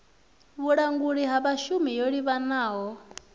vhulanguli ha vhashumi yo livhanaho